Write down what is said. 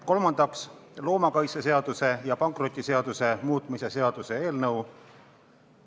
Kolmandaks, loomakaitseseaduse ja pankrotiseaduse muutmise seaduse eelnõu.